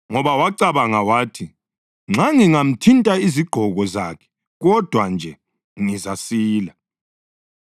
ngoba wacabanga wathi, “Nxa ngingathinta izigqoko zakhe kodwa nje, ngizasila.”